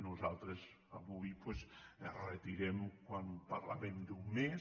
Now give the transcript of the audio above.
nosaltres avui doncs quan parlàvem d’un mes